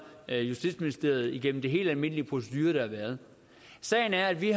af justitsministeriet igennem de helt almindelige procedurer der har været sagen er at vi